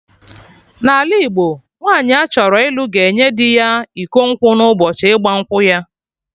N'ala Igbo, nwaanyi achọrọ ịlụ ga-enye dị ya iko nkwụ na ụbọchị ịgba nkwụ ya